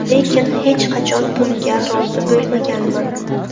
Lekin hech qachon bunga rozi bo‘lmaganman.